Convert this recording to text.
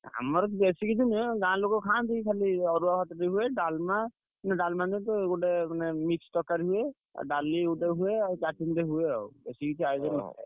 ଆମର ବେଶୀ କିଛି ନୁହେଁ ଗାଁ ଲୋକ ଖାଆନ୍ତି। ଖାଲି ଅରୁଆ ଭାତ ଟିକେ ହୁଏ। ଡାଲମା, ଗୋଟେ ମାନେ ମିକ୍ସ୍ ତରକାରୀ ଟେ ହୁଏ, ଡାଲିଟେ ହୁଏ ଆଉ ହୁଏ ଆଉଏତିକି